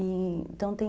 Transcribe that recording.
Então tem...